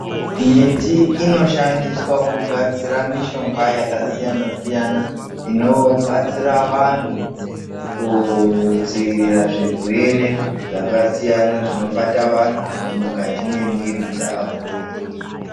Miti inoshandiswa kugadzira mishonga yakasiyana siyana inobatsira vantu kudziirira zvirwere zvakasiyana zvinobata antu mukati mwemiri dzawo.